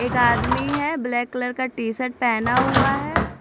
एक आदमी है ब्लैक कलर का टी-शर्ट पहना हुआ है।